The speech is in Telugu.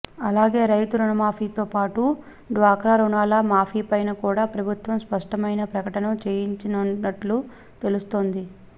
అలాగే రైతు రుణమాఫీతో పాటు డ్వాక్రా రుణాల మాఫీపైన కూడా ప్రభుత్వం స్పష్టమైన ప్రకటన చేయనున్నట్లు తెలుస్తోంది